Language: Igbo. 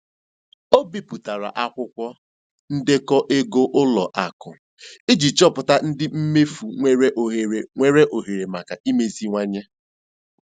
O bipụtara akwụkwọ ndekọ ego ụlọ akụ iji chọpụta ụdị mmefu nwere ohere nwere ohere maka imeziwanye.